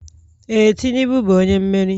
Ee, Tinubu bụ onye mmeri.